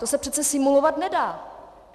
To se přece simulovat nedá.